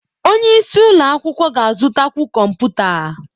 Onye isi ụlọ akwụkwọ ga-azụtakwu kọmputa.